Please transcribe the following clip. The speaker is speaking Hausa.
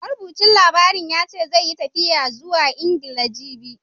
Marubucin jaridar ya ce, zai yi tafiya zuwa Ingila, jibi.